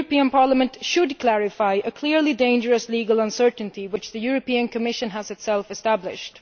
Parliament should clarify a clearly dangerous legal uncertainty which the Commission has itself established.